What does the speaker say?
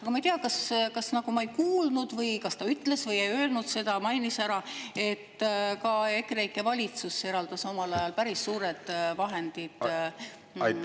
Ma ei tea, kas ma ei kuulnud või kas ta ütles või ei öelnud, kas ta mainis seda, et ka EKREIKE valitsus eraldas omal ajal Haapsalu raudteele päris suured vahendid.